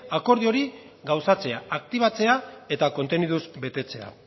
akordio hori gauzatzea aktibatzea eta konteniduz betetzea